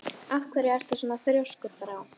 Af hverju ertu svona þrjóskur, Brá?